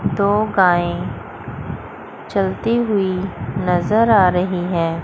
दो गाय चलती हुई नजर आ रही हैं।